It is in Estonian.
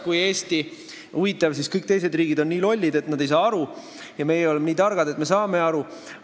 Huvitav, kas siis kõik teised riigid on nii lollid, et nad ei saa aru, ja meie oleme nii targad, et me saame aru?